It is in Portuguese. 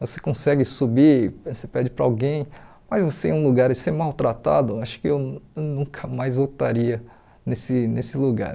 Você consegue subir, você pede para alguém, mas você ir em um lugar e ser maltratado, acho que eu nunca mais voltaria nesse nesse lugar.